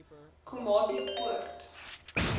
komatipoort